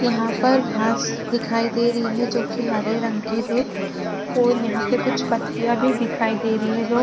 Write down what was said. यहाँ पर घास दिखाई दे रही है जो की हरे रंग की है और यहाँ पे कुछ पत्तिया भी दिखाई दे रही है जो --